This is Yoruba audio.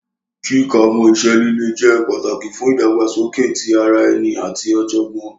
Chika mọ iṣẹ lile jẹ pataki fun idagbasoke ti ara ẹni ati ọjọgbọn.